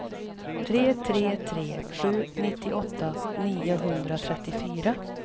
tre tre tre sju nittioåtta niohundratrettiofyra